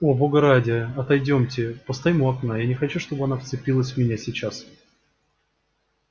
о бога ради отойдёмте постоим у окна я не хочу чтобы она вцепилась в меня сейчас